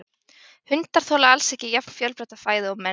Hundar þola alls ekki jafn fjölbreytta fæðu og menn.